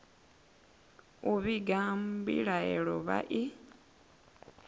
u vhiga mbilahelo vha i